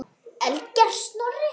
Ellegar Snorri?